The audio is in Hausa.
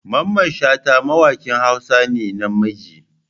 Mamman shata mawakin hausa ne na namiji.